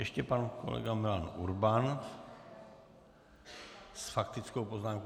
Ještě pan kolega Milan Urban s faktickou poznámkou.